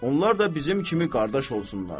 Onlar da bizim kimi qardaş olsunlar.